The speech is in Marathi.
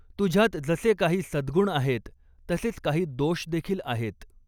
तुझ्यात जसे काही सद्गुण आहेत, तसेच काही दोषदेखील आहेत.